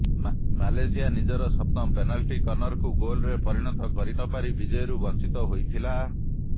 Malaysia ନିଜର ସପ୍ତମ penalty କର୍ନରକୁ ଗୋଲ୍ରେ ପରିଣତ କରିନପାରି ବିଜୟରୁ ବଞ୍ଚିତ ହୋଇଥିଲା